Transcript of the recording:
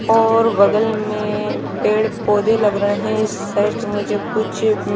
और बगल में पेड़ पोधे लगरे है इस साईद मुझे कुछ--